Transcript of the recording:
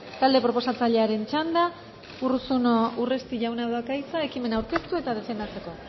talde proposatzailearen txanda urruzuno urresti jaunak dauka hitza ekimena aurkeztu eta defendatzeko